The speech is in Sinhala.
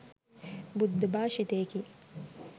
බුද්ධ භාෂිතයකි.